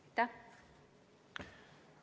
Aitäh!